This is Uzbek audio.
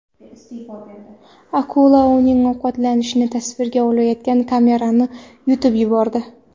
Akula uning ovqatlanishini tasvirga olayotgan kamerani yutib yubordi .